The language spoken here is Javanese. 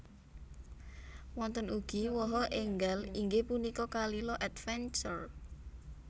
Wonten ugi waha enggal inggih punika Kalila Adventure